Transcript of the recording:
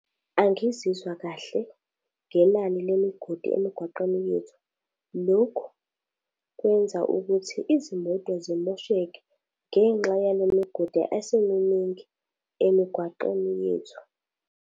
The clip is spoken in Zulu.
Angizizwa kahle ngenani lemigodi emigwaqeni yethu. Lokhu, kwenza ukuthi izimoto zimosheke ngenxa yale migodi esiminingi emigwaqeni yethu.